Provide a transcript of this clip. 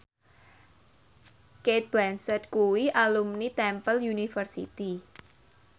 Cate Blanchett kuwi alumni Temple University